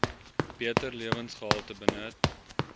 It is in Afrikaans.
beter lewensgehalte benut